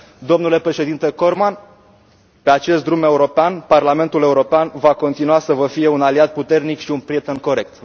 Domnule Președinte Corman, pe acest drum european, Parlamentul European va continua să vă fie un aliat puternic și un prieten corect.